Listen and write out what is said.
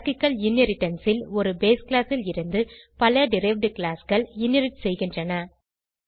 hierarchical inheritance ல் ஒருbase class ல் இருந்து பல டெரைவ்ட் classகள் இன்ஹெரிட் செய்கின்றன